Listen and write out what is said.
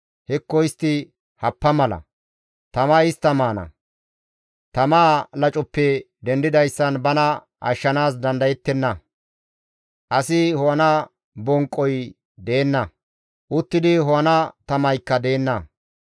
Hekko istti happa mala; tamay istta maana. Tamaa lacoppe dendidayssan bana ashshanaas dandayettenna. Asi ho7ana bonqqoy deenna; uttidi ho7ana tamaykka deenna.